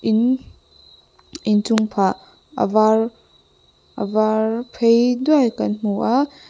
in inchung phah a var a var phei duai kan hmu a.